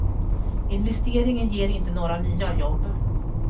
Investeringen ger inte några nya jobb.